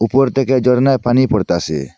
উপর থেকে ঝর্ণায় পানি পড়তাসে।